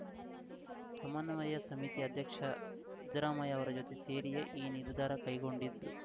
ಸಮನ್ವಯ ಸಮಿತಿ ಅಧ್ಯಕ್ಷ ಸಿದ್ದರಾಮಯ್ಯ ಅವರ ಜೊತೆ ಸೇರಿಯೇ ಈ ನಿರ್ಧಾರ ಕೈಗೊಂಡಿದ್ದು